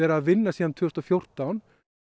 að vinna að síðan tvö þúsund og fjórtán